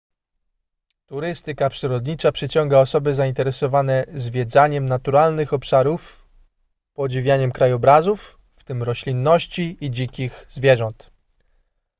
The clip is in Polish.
turystyka przyrodnicza przyciąga osoby zainteresowane zwiedzaniem naturalnych obszarów podziwianiem krajobrazów w tym roślinności i dzikich zwierząt